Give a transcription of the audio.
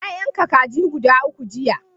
Na yanka kaji guda uku jiya.